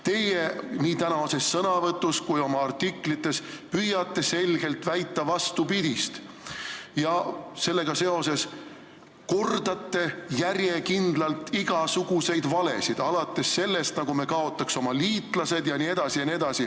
Teie nii tänases sõnavõtus kui ka oma artiklites püüate selgelt väita vastupidist ja sellega seoses kordate järjekindlalt igasuguseid valesid, alates sellest, nagu me kaotaks oma liitlased jne.